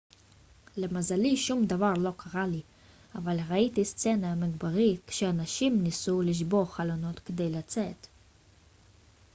למזלי שום דבר לא קרה לי אבל ראיתי סצנה מקברית כשאנשים ניסו לשבור חלונות כדי לצאת